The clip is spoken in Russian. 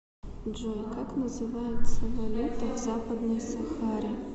джой как называется валюта в западной сахаре